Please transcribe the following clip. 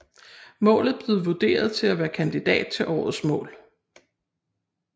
Målet blev vurderet til at være kandidat til årets mål